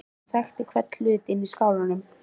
Hún þekkti hvern hlut inni í skálanum.